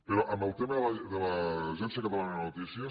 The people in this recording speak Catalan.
però en el tema de l’agència catalana de notícies